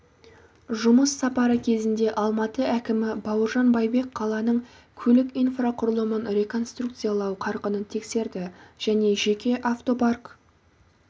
жұмыс сапары кезінде алматы әкімі бауыржан байбек қаланың көлік инфрақұрылымын реконструкциялау қарқынын тексерді және жеке автопарк